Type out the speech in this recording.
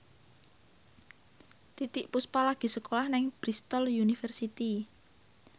Titiek Puspa lagi sekolah nang Bristol university